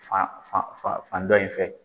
Fan dɔ in fɛ